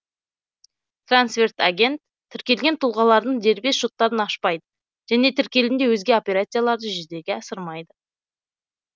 трансферт агент тіркелген тұлғалардың дербес шоттарын ашпайды және тіркелімде өзге операцияларды жүзеге асырмайды